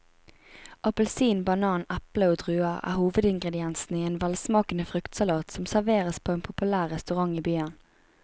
Appelsin, banan, eple og druer er hovedingredienser i en velsmakende fruktsalat som serveres på en populær restaurant i byen.